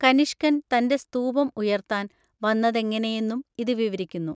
കനിഷ്കൻ തന്റെ സ്തൂപം ഉയർത്താൻ വന്നതെങ്ങനെയെന്നും ഇത് വിവരിക്കുന്നു.